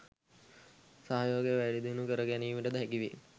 සහයෝගය වැඩි දියුණු කර ගැනීමට ද හැකි වේ